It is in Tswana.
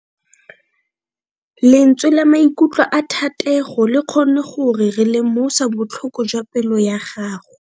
Lentswe la maikutlo a Thatego le kgonne gore re lemosa botlhoko jwa pelo ya gagwe.